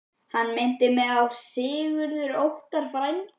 Hann minnti mig á að Sigurður Óttar, frændi